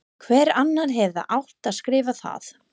Hver annar hefði átt að skrifa það?